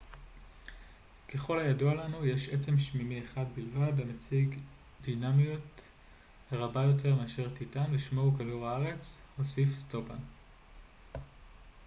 ככל הידוע לנו יש עצם שמימי אחד בלבד המציג דינמיות רבה יותר מאשר טיטאן ושמו הוא כדור הארץ הוסיף סטופאן